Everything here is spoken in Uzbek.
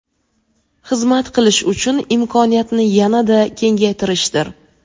xizmat qilish uchun imkoniyatni yanada kengaytirishdir.